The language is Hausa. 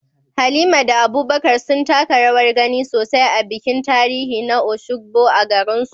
Halima da Abubakar sun taka rawar gani sosai a bikin tarihi na Osogbo a garinsu.